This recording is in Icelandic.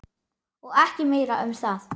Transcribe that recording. Og ekki meira um það!